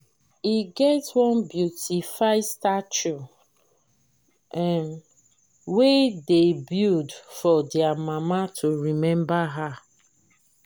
e get one beautify statue um wey dey build for their mama to remember her